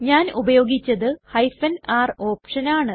ഞാൻ ഉപയോഗിച്ചത് r ഓപ്ഷനാണ്